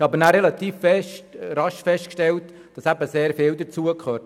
Wir haben aber rasch festgestellt, dass sehr viel dazugehört.